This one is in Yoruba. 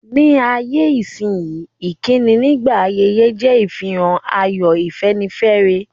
Ní ayé-isínyí, ìkíni nígbà ayẹyẹ je ìfihàn ayọ̀, ìfẹ́nifẹ́re.